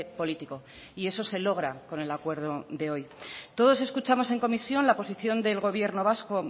político y eso se logra con el acuerdo de hoy todos escuchamos en comisión la posición del gobierno vasco